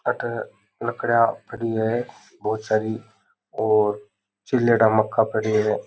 अठे लकड़ियां पड़ी है बहुत सारी और छिलेडा मक्का पड्या है।